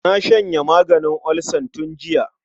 Na shanye maganin olsan tun jiya.